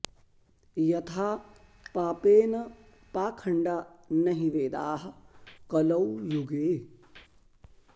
यथा पापेन पाखण्डा न हि वेदाः कलौ युगे